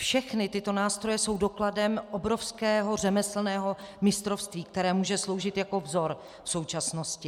Všechny tyto nástroje jsou dokladem obrovského řemeslného mistrovství, které může sloužit jako vzor současnosti.